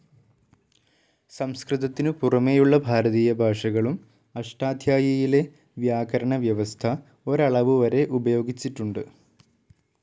സംസ്കൃതത്തിനു പുറമേയുള്ള ഭാരതീയ ഭാഷകളും അഷ്ടാധ്യായിയിലെ വ്യാകരണവ്യവസ്ഥ ഒരളവുവരെ ഉപയോഗിച്ചിട്ടുണ്ട്.